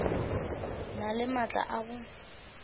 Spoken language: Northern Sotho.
na le maatla a go